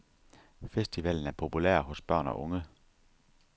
Festivalen er populær hos børn og unge.